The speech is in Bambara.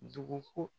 Dugu ko